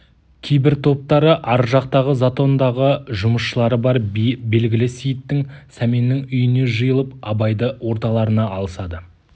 кейбір топтары ар жақтағы затондағы жұмысшылары бар белгілі сейіттің сәменнің үйіне жиылып абайды орталарына алысады